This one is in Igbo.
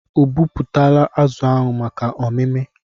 Obupụtala azụ ahụ maka ọmimi?